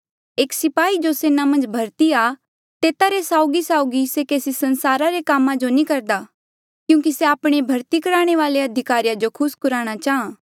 एक स्पाही जो सेना मन्झ भर्ती आ तेता रे साउगीसाउगी से केसी संसारा रे कामा जो नी करदा क्यूंकि से आपणे भर्ती करणे वाले अधिकारी जो खुस कुराणा चाहां